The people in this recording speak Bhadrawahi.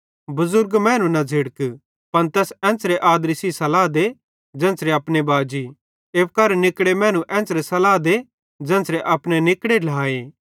बुढे मैनू न झ़िड़क पन तैस एन्च़रे आदरी सेइं सल्लाह दे ज़ेन्च़रे अपने बाजी एप्पू करां निकड़े मैनू एन्च़रे सल्लाह दे ज़ेन्च़रे अपने निकड़े ढ्लाए